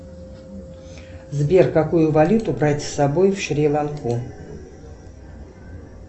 сбер какую валюту брать с собой в шри ланку